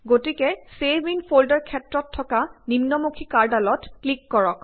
গতিকে save in folder ক্ষেত্ৰত থকা নিম্নমুখি কাড়ঁডালত ক্লিক কৰক